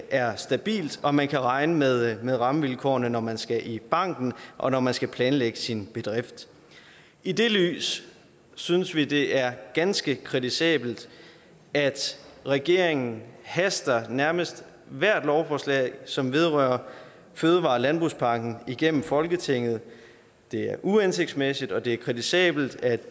er stabil og at man kan regne med med rammevilkårene når man skal i banken og når man skal planlægge sin bedrift i det lys synes vi det er ganske kritisabelt at regeringen haster nærmest ethvert lovforslag som vedrører fødevare og landbrugspakken igennem folketinget det er uhensigtsmæssigt og det er kritisabelt at